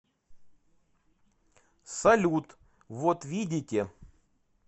салют вот видите